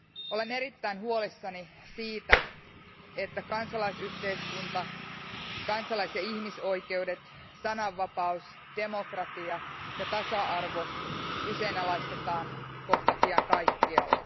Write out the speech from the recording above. Olen erittäin huolissani siitä, että kansalaisyhteiskunta, kansalais ja ihmisoikeudet, sananvapaus, demokratia ja tasa arvo kyseenalaistetaan kohta pian kaikkialla.